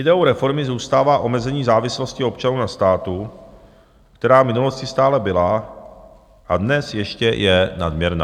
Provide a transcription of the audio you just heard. Ideou reformy zůstává omezení závislosti občanů na státu, která v minulosti stále byla a dnes ještě je nadměrná.